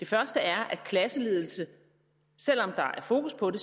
første er at klasseledelse selv om der er fokus på det